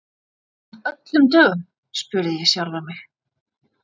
Af öllum dögum? spurði ég sjálfa mig.